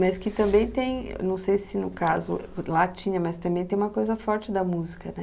Mas que também tem, não sei se no caso lá tinha, mas também tem uma coisa forte da música, né?